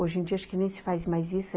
Hoje em dia, acho que nem se faz mais isso.